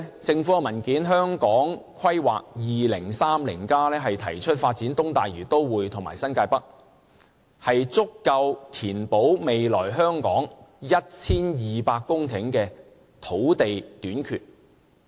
政府文件《香港 2030+： 跨越2030年的規劃遠景與策略》提出，發展東大嶼都會和新界北，足夠填補未來香港 1,200 公頃的土地短缺。